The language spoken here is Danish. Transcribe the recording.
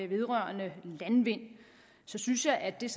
vedrørende landvind så synes jeg at det